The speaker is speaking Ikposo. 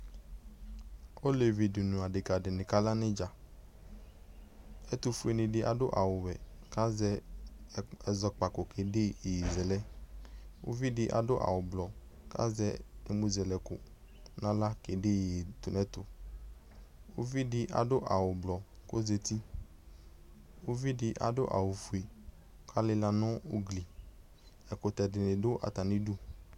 olɛvi dʋ nʋ adɛka dini ka la nʋ idza ɛtʋfuɛni di adʋ awʋ wɛ ku azɛ ɛzɔkpako kɛdɛ yɛyɛzɛlɛ uvi di adʋ awʋ blɔ kazɛ ɛmʋzɛlɛkʋ na la kɛ dɛ yɛyɛtʋnɛtʋ ʋvi di adʋ awʋ blɔ kʋ ozɛti ʋvi di adʋ awʋ fuɛ kʋ alila nʋ ʋgli ɛkʋtɛ dini dʋ atani dʋ